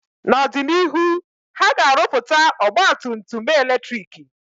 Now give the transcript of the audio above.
N'ọdịnihu, ha ga-arụpụta ọgba tum tum eletrik